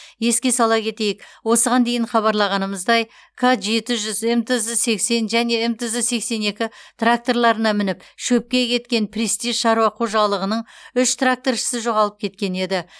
еске сала кетейік осыған дейін хабарлағанымыздай к жеті жүз мтз сексен және мтз сексен екі тракторларына мініп шөпке кеткен престиж шаруа қожалығының үш тракторшысы жоғалып кеткен еді